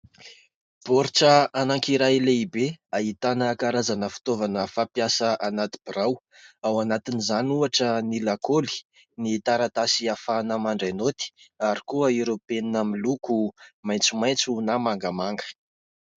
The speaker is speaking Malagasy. Baoritra anankiray lehibe ahitana karazana fitaovana fampiasa anaty birao ao anatin'izany ohatra : ny lakôly, ny taratasy ahafahana mandray naoty ary koa ireo penina miloko maitsomaitso na mangamanga.